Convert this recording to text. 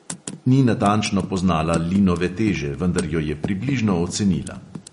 Ni natančno poznala linove teže, vendar jo je približno ocenila.